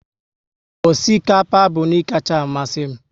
Osikapa bụ nri kacha amasị m